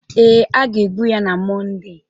Ee, a ga-egbu ya na Mọnde